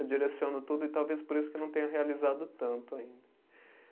Eu direciono tudo e talvez por isso que eu não tenha realizado tanto ainda.